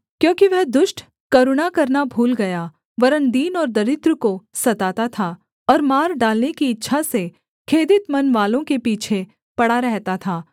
क्योंकि वह दुष्ट करुणा करना भूल गया वरन् दीन और दरिद्र को सताता था और मार डालने की इच्छा से खेदित मनवालों के पीछे पड़ा रहता था